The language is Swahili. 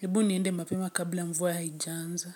Hebu niende mapema kabla mvua haijanza.